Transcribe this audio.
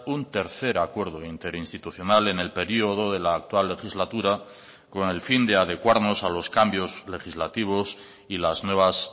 un tercer acuerdo interinstitucional en el periodo de la actual legislatura con el fin de adecuarnos a los cambios legislativos y las nuevas